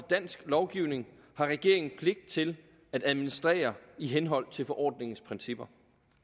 dansk lovgivning har regeringen pligt til at administrere i henhold til forordningens principper